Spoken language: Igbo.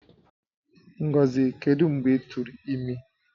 Ngozi, kedu mgbe i turu imi?